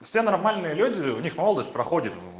все нормальные люди у них молодость проходит